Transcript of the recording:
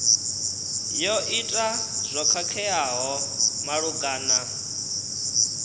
yo ita zwo khakheaho malugana